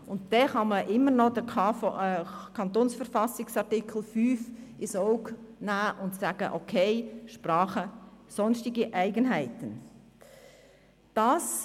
Und dann kann man immer noch den Artikel 5 KV ins Auge fassen und sagen, es sei wegen der Sprache und sonstiger Eigenheiten okay.